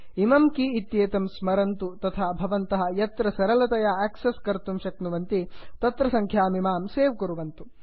इमं की इत्येतं स्मरन्तु तथा भवन्तः यत्र सरलतया आक्सस् कर्तुं शक्यते तत्र सङ्ख्यामिमां सेव् कुर्वन्तु